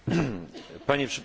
Pani Przewodnicząca!